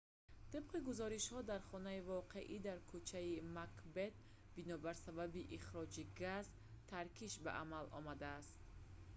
тибқи гузоришҳо дар хонаи воқеъ дар кӯчаи макбет бинобар сабаби ихроҷи газ таркиш ба амал омадааст